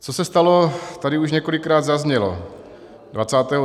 Co se stalo, tady už několikrát zaznělo.